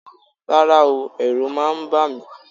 Rárá o, ẹ̀rù máa ń bà mí